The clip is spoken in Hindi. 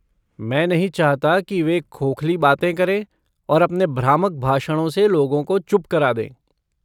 मैं नहीं चाहता कि वे खोखली बातें करें और अपने भ्रामक भाषणों से लोगों को चुप करा दें।